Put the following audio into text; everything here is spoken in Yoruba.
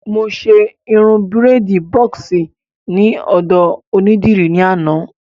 Mo ṣe irun bírèèdì bọ́ọ̀sì ní ọ̀dọ̀ onídìrí ní àná